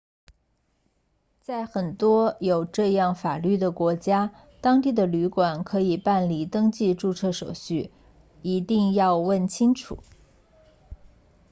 在很多有这样法律的国家当地的旅馆可以办理登记注册手续一定要问清楚